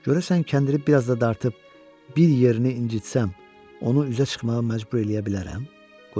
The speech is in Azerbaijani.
Görəsən kəndiri bir az da dartıb bir yerini incitsəm, onu üzə çıxmağa məcbur eləyə bilərəm?